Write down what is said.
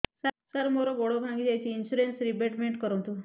ସାର ମୋର ଗୋଡ ଭାଙ୍ଗି ଯାଇଛି ଇନ୍ସୁରେନ୍ସ ରିବେଟମେଣ୍ଟ କରୁନ୍ତୁ